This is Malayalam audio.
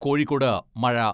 കോഴിക്കോട് മഴ